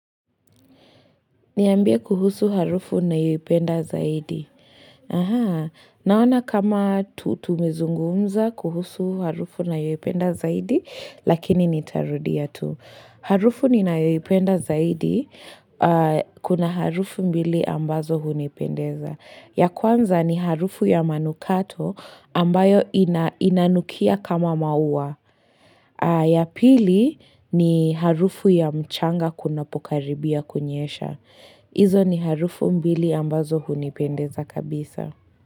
Niambie kuhusu harufu unayoipenda zaidi. Naona kama tu tumezungumza kuhusu harufu nayoipenda zaidi, lakini nitarudia tu. Harufu ni nayoipenda zaidi, kuna harufu mbili ambazo hunipendeza. Ya kwanza ni harufu ya manukato ambayo inanukia kama maua. Ya pili ni harufu ya mchanga kunapokaribia kunyesha. Izo ni harufu mbili ambazo hunipendeza kabisa.